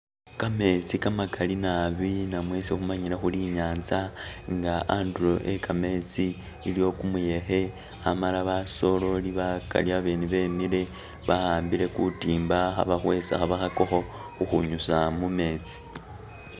Kametsi kamakali naabi namwe isi khumanyile khuri inyanza nga andulo ekametsi iliwo kumuyekhe amala basoleli bakali babene bemiile ba'ambile kutimba khabakhwesa khabakhakakho khukhunyusa mumetsi